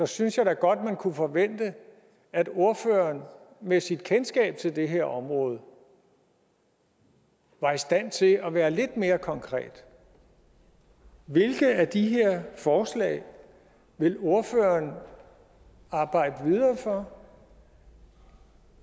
synes da godt at man kunne forvente at ordføreren med sit kendskab til det her område var i stand til at være lidt mere konkret hvilke af de her forslag vil ordføreren arbejde videre for